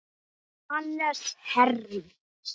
Hannes Herm.